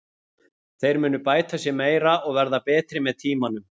Þeir munu bæta sig meira og verða betri með tímanum.